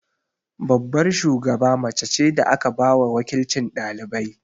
Babbar shugaba mace ce da aka ba wa waƙilcin ɗalibai.